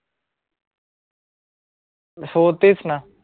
हो तेच ना